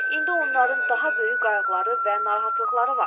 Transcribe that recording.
İndi onların daha böyük qayğıları və narahatlıqları var.